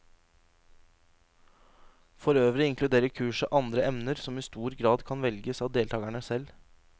Forøvrig inkluderer kurset andre emner, som i stor grad kan velges av deltakerne selv.